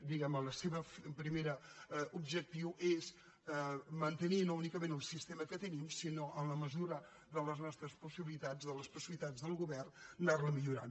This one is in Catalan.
diguem ne el seu primer objectiu és mantenir no únicament el sistema que tenim sinó en la mesura de les nostres possibilitats de les possibilitats del govern anar lo millorant